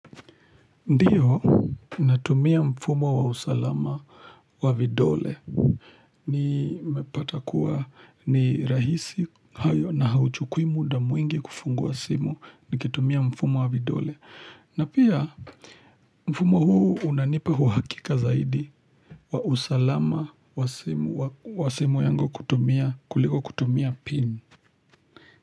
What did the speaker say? Ndiyo natumia mfumo wa usalama wa vidole nimepata kuwa ni rahisi hayo na hauchukui muda mwingi kufungua simu nikitumia mfumo wa vidole na pia mfumo huu unanipa uhakika zaidi wa usalama wa simu wa simu yangu kuliko kutumia pin.